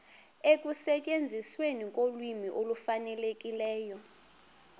ekusetyenzisweni kolwimi olufanelekileyo